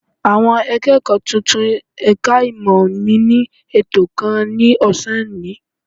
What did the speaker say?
Àwọn akẹ́kọ̀ọ́ tuntun ẹ̀ka ìmọ̀ mi ní ètò kan ní ọ̀sán òní